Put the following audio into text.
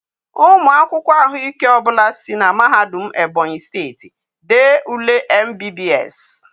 Ụmụ akwụkwọ ahụike ọ bụla si na Mahadum Ebonyi steeti dee ule MBBS.